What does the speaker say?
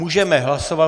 Můžeme hlasovat.